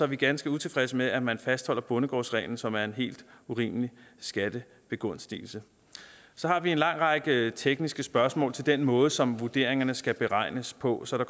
vi ganske utilfredse med at man fastholder bondegårdsreglen som er en helt urimelig skattebegunstigelse så har vi en lang række tekniske spørgsmål om den måde som vurderingerne skal beregnes på så i